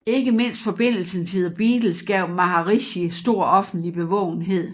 Ikke mindst forbindelsen til The Beatles gav Maharishi stor offentlig bevågenhed